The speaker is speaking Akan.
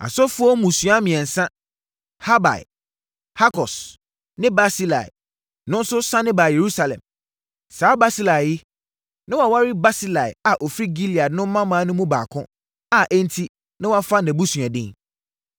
Asɔfoɔ mmusua mmiɛnsa: Habaia, Hakos ne Barsilai no nso sane baa Yerusalem. (Saa Barsilai yi, na waware Barsilai a ɔfiri Gilead no mmammaa no mu baako a enti na wafa nʼabusua din.)